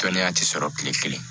Dɔnniya tɛ sɔrɔ kile kelen